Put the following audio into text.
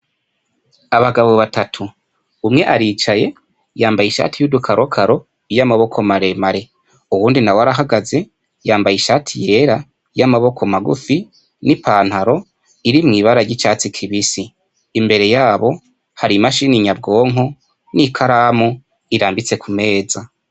Abagabo batatu umwe aricaye yambaye ishati y'udukarokaro yoamaboko maremare uwundi na we arahagaze yambaye ishati yirera y'amaboko magufi n'i pantaro iri mw'ibara ry'icatsi kibisi imbere yabo hari imashini nyabwonko n'ikaramu irambitse kumera neza.